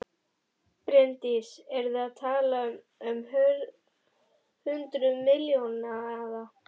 Bryndís: Eru þið að tala um hundruð milljóna eða?